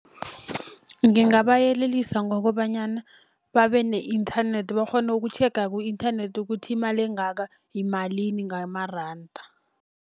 Ngingabayelelisa ngokobanyana babe ne-internet bakghone ukutjhega ku-internet ukuthi imali engaka yimalini ngamaranda.